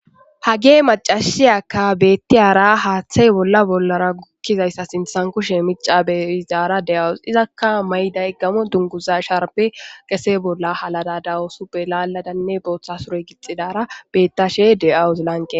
Hagay macasiya hathe bolla sinthan kushe michi beyizara de'awus izaka mayiday gamo dunguza sharbe qese bolla hallada dawus botha sure gixidara betashe de'awus lanqen